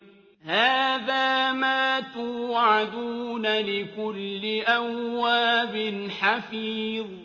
هَٰذَا مَا تُوعَدُونَ لِكُلِّ أَوَّابٍ حَفِيظٍ